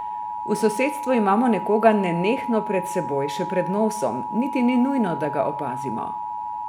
V sosedstvu imamo nekoga nenehno pred seboj, še pred nosom, niti ni nujno, da ga opazimo.